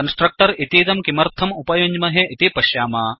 constructor इतीदं किमर्थम् उपयुञ्ज्महे इति पश्याम